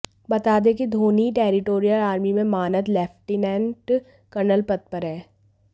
बता दें कि धोनी टेरिटोरियल आर्मी में मानद लेफ्टिनेंट कर्नल पद पर हैं